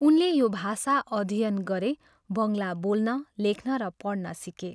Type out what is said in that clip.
उनले यो भाषा अध्ययन गरे बङ्गला बोल्न, लेख्न र पढ्न सिके।